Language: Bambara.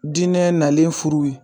Dinɛ nalen furuw ye